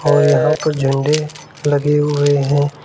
और यहां पर झंडे लगे हुए हैं।